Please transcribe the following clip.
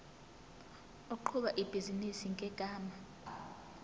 oqhuba ibhizinisi ngegama